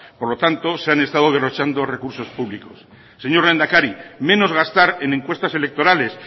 por lo tanto se han estado derrochando recursos públicos señor lehendakari menos gastar en encuestas electorales